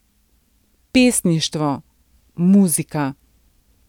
Pesništvo, muzika.